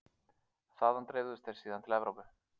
Þaðan dreifðust þeir síðan til Evrópu.